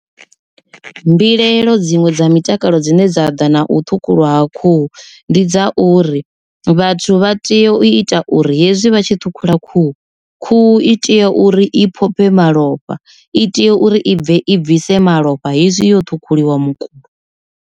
Mbilaelo dziṅwe dza mutakalo dzine dza ḓa na u ṱhukhulwa ha khuhu ndi dza uri, vhathu vha tea u ita uri hezwi vha tshi ṱhukhula khuhu, khuhu i tea uri i phophe malofha i tea uri i bve i bvise malofha hezwi yo ṱhukhuliwa mukulo.